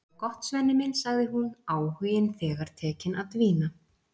Það er gott, Svenni minn, sagði hún, áhuginn þegar tekinn að dvína.